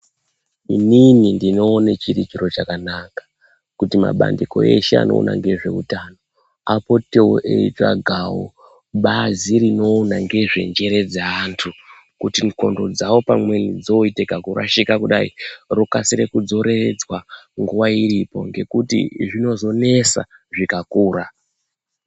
Inini ndinoone chiri chiro chakanaka kuti mabandiko eshe anoona ngezveutano apotewo eitsvagawo bazi rinoona ngezvenjere dzeantu. Kuti ndxondo dzawo pamweni dzooite kakurashika kudai rokasire kudzoreredzwa nguwa iripo, ngekuti zvinozonesa zvikakura.